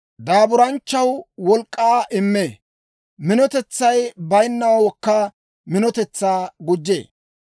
Daaburanchchaw wolk'k'aa immee; minotetsay bayinnawookka minotetsaa gujjee.